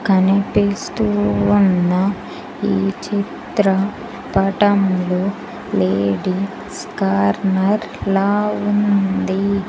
కనిపిస్తూ ఉన్న ఈ చిత్ర పటంలో లేడీస్ కార్నర్లా ఉంది.